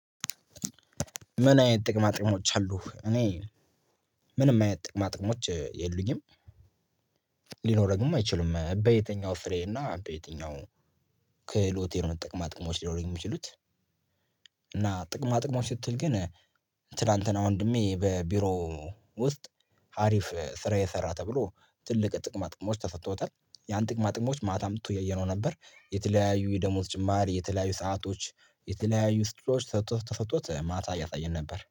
ምን አይነት ጥቅማ ጥቅሞች አሉ? እኔ ምንም አይነት ጥቅማ ጥቅሞች የሉኝም። ሊኖረኝም አይችሉም በየትኛው ፍሬ እና በየትኛው ክህሎቴ ነው ጥቅማጥቅሞች ሊኖሩኝ የሚችሉት። እና ጥቅማጥቅሞች ስትል ግን ትላንትና ወንድሜ በቢሮ ውስጥ አሪፍ ስራ የሰራ ተብሎ ትልቅ ጥቅማ ጥቅሞች ተሰጥቶታል። ያን ጥቅማ ጥቅሞች ማታ አምጥቶ እያየነው ነበር። የተለያዩ የደሞዝ ጭማሪ የተለያዩ ሰአቶች የተለያዩ ስጦታዎች ተሰጥቶት ተሰጥቶት ማታ እያሳየን ነበር